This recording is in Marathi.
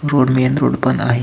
रोड मेन रोड पण आहे.